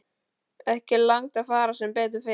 Ekki langt að fara sem betur fer.